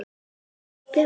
Er kjötið betra?